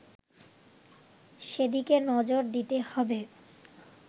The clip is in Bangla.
সেদিকে নজর দিতে হবে